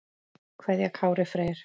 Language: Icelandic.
kveðja Kári Freyr.